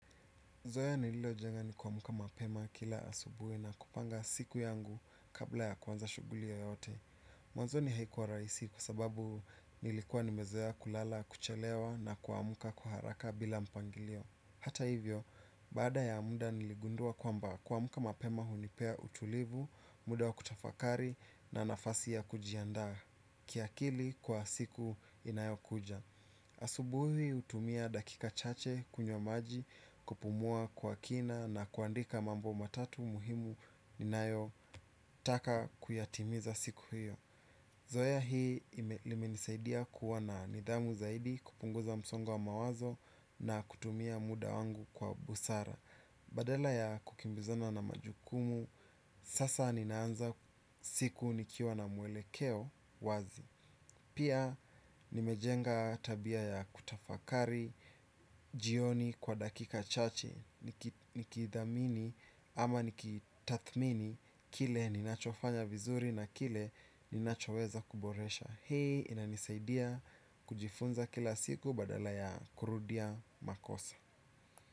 Zoea nililo jenga ni kuamka mapema kila asubuhi na kupanga siku yangu kabla ya kuanza shugulia yoyote. Mwanzoni haikuwa rahisi kwa sababu nilikuwa nimezoea kulala, kuchelewa na kuamuka kwa haraka bila mpangilio. Hata hivyo, baada ya muda niligundua kwamba kuamka mapema hunipea utulivu, muda wa kutafakari na nafasi ya kujiandaa. Kiakili kwa siku inayo kuja. Asubuhi hutumia dakika chache kunywa maji kupumua kwa kina na kuandika mambo matatu muhimu ninayo taka kuyatimiza siku hiyo. Zoea hii limenisaidia kuwa na nidhamu zaidi kupunguza msongo wa mawazo na kutumia muda wangu kwa busara. Badala ya kukimbizana na majukumu sasa ninaanza siku nikiwa na muelekeo wazi. Pia nimejenga tabia ya kutafakari, jioni kwa dakika chache, nikidhamini ama nikitathmini kile ninachofanya vizuri na kile ninachoweza kuboresha hii inanisaidia kujifunza kila siku badala ya kurudia makosa.